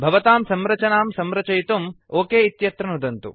भवतां संरचनां संरक्षितुं ओक इत्यत्र नुदन्तु